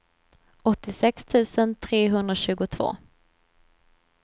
åttiosex tusen trehundratjugotvå